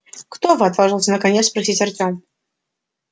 кто вы отважился наконец спросить артём